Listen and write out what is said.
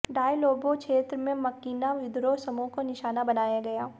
डायलोबे क्षेत्र में मकिना विद्रोह समूह को निशाना बनाया गया